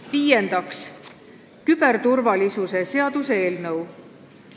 Viiendaks, küberturvalisuse seaduse eelnõu.